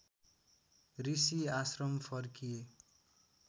ऋषि आश्रम फर्किए